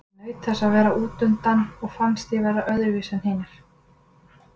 Ég naut þess að vera útundan og fannst ég vera öðruvísi en hinir.